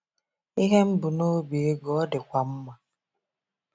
Ihe m mbu n'obi ịgụ ọ dịkwa mma.